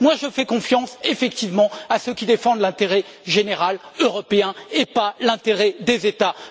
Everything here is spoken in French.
Moi, je fais confiance effectivement à ceux qui défendent l'intérêt général européen, et non pas l'intérêt des États.